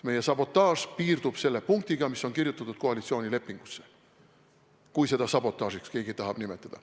Meie sabotaaž piirdub selle punktiga, mis on kirjutatud koalitsioonilepingusse – kui keegi tahab seda sabotaažiks nimetada.